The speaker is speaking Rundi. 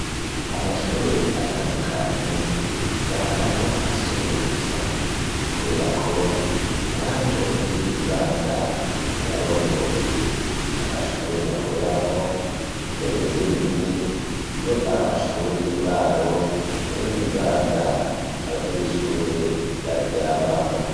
ku mashure atandukanye ntusanga hariho amasomero gusa kubera ko haba hariho n'ibindi bibanza abarongoye amashure bakoreramwo mbere rimwe rimwe iyo ari amashure y'uburaro hariho n'ibibanza abanyeshure baryamamwo